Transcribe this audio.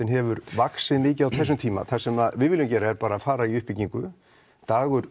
hefur vaxið mikið á þessum tíma það sem við viljum gera er að fara í uppbyggingu